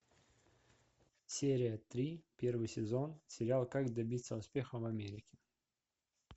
серия три первый сезон сериал как добиться успеха в америке